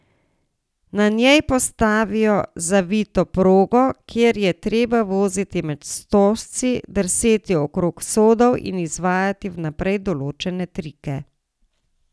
Na njej postavijo zavito progo, kjer je treba voziti med stožci, drseti okrog sodov in izvajati vnaprej določene trike.